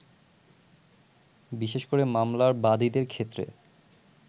বিশেষ করে মামলার বাদীদের ক্ষেত্রে